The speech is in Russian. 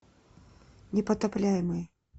непотопляемый